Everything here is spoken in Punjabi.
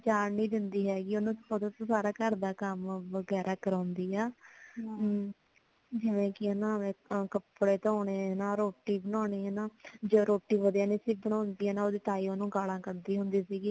ਓਨੁ ਜਾਣ ਨਈ ਦੇਂਦੀ ਹੈਗੀ ਓਨੁ ਓਦੇ ਤੋਂ ਸਾਰਾ ਘਰ ਦਾ ਕਮ ਵਗੈਰਾ ਕਰਾਉਂਦੀ ਆ ਜਿਵੇ ਕਿ ਨਾ ਜਿਸ ਤਰਾਂ ਕੱਪੜੇ ਧੋਣੇ ਨਾਲ ਰੋਟੀ ਬਣਾਉਣੀ ਜੇ ਰੋਟੀ ਵਧੀਆ ਨਈ ਸੀ ਬਣਾਉਂਦੀ ਤੇ ਓਦੀ ਤਾਈਂ ਓਨੁ ਗਾਲਾਂ ਕੜਦੀ ਹੁੰਦੀ ਸੀਗੀ